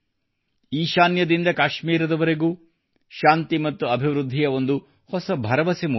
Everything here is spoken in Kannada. ಈಶಾನ್ಯದಿಂದ ಕಾಶ್ಮೀರದವರೆಗೂ ಶಾಂತಿ ಮತ್ತು ಅಭಿವೃದ್ಧಿಯ ಒಂದು ಹೊಸ ಭರವಸೆ ಮೂಡಿದೆ